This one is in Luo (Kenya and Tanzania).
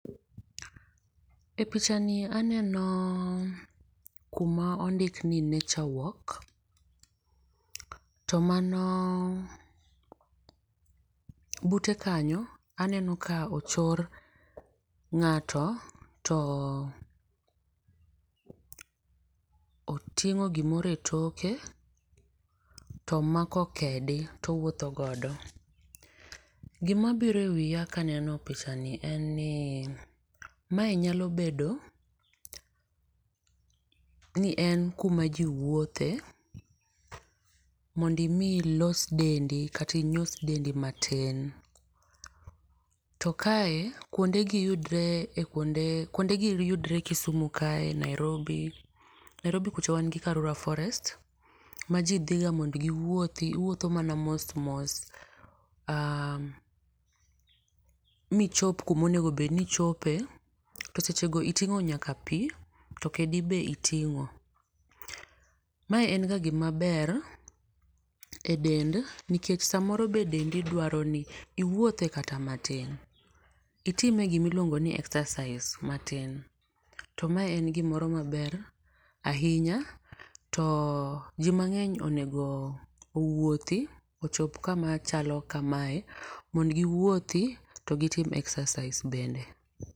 E picha ni aneno kuma ondik ni nature walk to mano bute kanyo aneno ka ochor ng'ato to oting'o gi moro e toke to mako kedi to owuotho godo. Gi ma biro e pacha ka aneno gi ni en ni ma en kuma ji wuothe mondo mi ilos dendi kata inyos dendi ma tin, to kae kuonde gi yudore e kuonde kuonde gi yudore kisumu ka e,Nairiobi. Nairobi kucho wan gi karura forest ma ji dhi ga mondo gi wuothi iwuotho mana mos mi ichop kuma onego bed ni ichope, e seche no itingo nyaka pi ,to kedi be itingo. Ma en ga gi ma ber e dendi nikech saa moro be deni dwaro ni iwuothe kata ma tin, itime gi ma iluongoi ni exercise ma tin to mae en gi moro ma ber ainya to ji mangeny onego owuothi ochop kama chalo ka mae mondo gi wuothi to gi tim exercise bende.